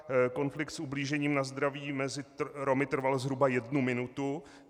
Konflikt s ublížením na zdraví mezi Romy trval zhruba jednu minutu.